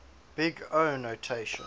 big o notation